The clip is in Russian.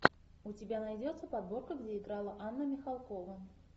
у тебя найдется подборка где играла анна михалкова